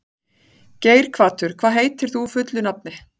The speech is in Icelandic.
Geirhvatur, hvað heitir þú fullu nafni?